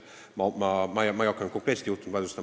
Ma ei hakka konkreetset juhtumit vaidlustama.